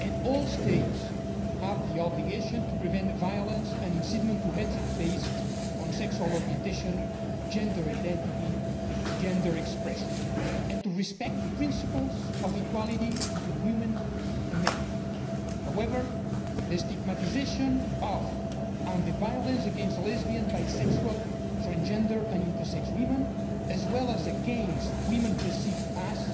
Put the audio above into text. All states have the obligation to prevent violence and incitement to hatred based on sexual orientation, gender identity and gender expression, and to respect the principles of equality between women and men. However, the stigmatisation of and the violence against lesbian, bisexual, transgender and intersex women, as well as against women perceived to be so,